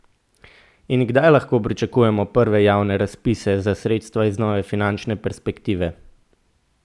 In kdaj lahko pričakujemo prve javne razpise za sredstva iz nove finančne perspektive?